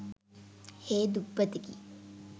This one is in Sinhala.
හේ දුප්පතෙකි.